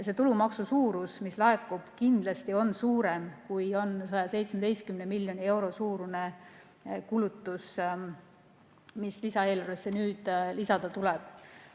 Selle tulumaksu suurus, mis laekub, on kindlasti suurem, kui on 117 miljoni euro suurune kulutus, mis lisaeelarvesse nüüd lisada tuleb.